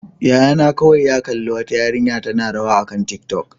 Yayana kawai ya kalli wata yarinya tana rawa akan tiktok.